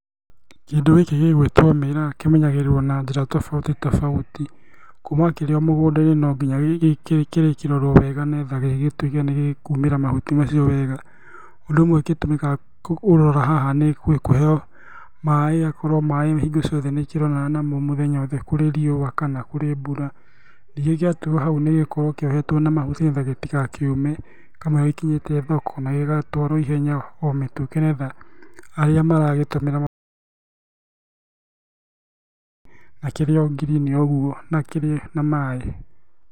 Kĩndũ gĩkĩ gĩgwĩtwo mĩraa kĩmenyagĩrĩrwo na njĩra tafauti tofauti, kuuma kĩrĩ mũgũnda-inĩ no nginya gĩrĩkĩrorwo wega nĩgetha gĩgĩtwĩke nĩgĩkuumĩra mahuti macioí wega. Ũndũ ũmwe ũgĩtũmĩkaga ũroona haha nĩ kũheeo maĩĩ akorwo maĩĩ hingo ciothe nĩkĩronana namo mũthenya wothe kũrĩ riua kana kũrĩ mbura, gĩatigwo hau nĩgũkorwo kĩohetwo na mahuti nĩgetha gĩtigakĩũme kamũiria gĩgĩkinyĩte thoko na gĩgatwarwo ihenya o mĩtũkĩ nĩgetha arĩa maragĩtũmĩra na kĩrĩ o ngirini o ũguo na kĩrĩ na maĩĩ.